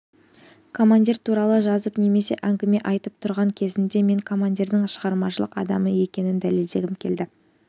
командир туралы жазып немесе әңгіме айтып тұрған кезімде мен командирдің шығармашылық адамы екенін дәлелдегім келеді